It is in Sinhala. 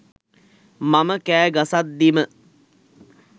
මම කෑ ගසද්දීම